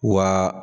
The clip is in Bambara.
Wa